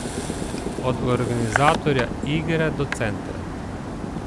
Od organizatorja igre do centra.